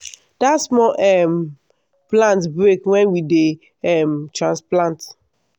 dat small um plant break wen we dey um transplant.